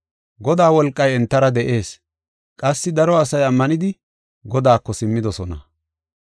Godaa wolqay entara de7ees; qassi daro asay ammanidi Godaako simmidosona.